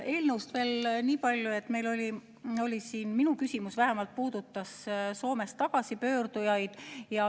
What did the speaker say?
Eelnõust veel niipalju, et meil oli siin – minu küsimus vähemalt puudutas neid – Soomest tagasipöördujatest.